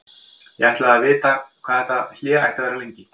Ég ætlaði að vita hvað þetta hlé ætti að vera lengi.